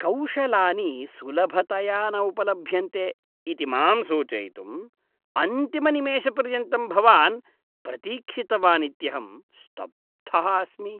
कौशलानि सुलभतया न उपलभ्यन्ते इति मां सूचयितुम् अन्तिमनिमेषपर्यन्तं भवान् प्रतीक्षितवानित्यहं स्तब्धः अस्मि।